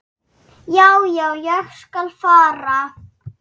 Já, já, ég skal fara.